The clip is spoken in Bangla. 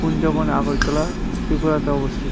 কুঞ্জবন আগরতলা ত্রিপুরাতে অবস্থি--